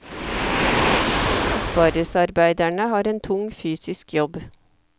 Aspargesarbeiderne har en tung fysisk jobb.